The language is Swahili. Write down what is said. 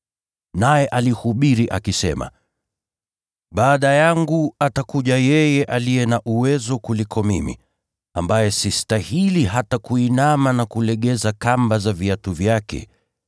Naye alihubiri akisema, “Baada yangu atakuja yeye aliye na uwezo kuniliko mimi, ambaye sistahili hata kuinama na kulegeza kamba za viatu vyake.